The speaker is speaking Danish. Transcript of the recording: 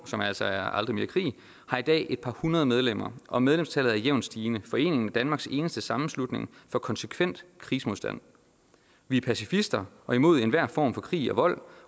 som altså er aldrig mere krig har i dag et par hundrede medlemmer og medlemstallet er jævnt stigende foreningen er danmarks eneste sammenslutning for konsekvent krigsmodstand vi er pacifister og imod enhver form for krig og vold